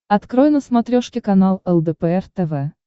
открой на смотрешке канал лдпр тв